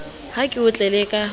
ha ke o tlele ka